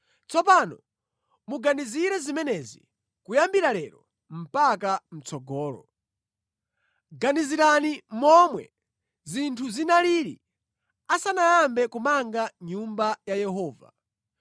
“ ‘Tsopano muganizire zimenezi kuyambira lero mpaka mʼtsogolo. Ganizirani momwe zinthu zinalili asanayambe kumanga nyumba ya Yehova.